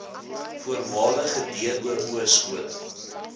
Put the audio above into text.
voormalige doo skole